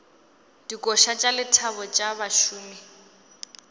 dikoša tša lethabo tša bašomi